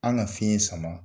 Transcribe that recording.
An ka fiɲɛ ye sama